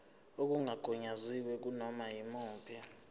okungagunyaziwe kunoma yimuphi